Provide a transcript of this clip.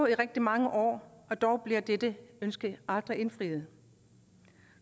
i rigtig mange år og dog er dette ønske aldrig blevet indfriet